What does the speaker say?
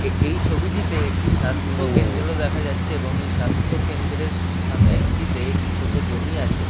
এ এই ছবিটিতে একটি স্বাস্থ্য কেন্দ্র দেখা যাচ্ছে এবং এই স্বাস্থ্য কেন্দ্রের স সামনে টিতে একটি ছোট জমি আছে--